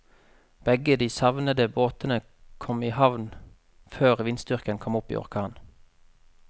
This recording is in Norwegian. Begge de savnede båtene kom i havn før vindstyrken kom opp i orkan.